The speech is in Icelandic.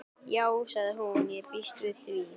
Já sagði hún, ég býst við því